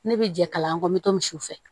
Ne bɛ jɛ kalan kɔ n bɛ to misiw fɛ